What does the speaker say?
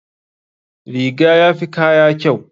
Riga yafi kaya kyau.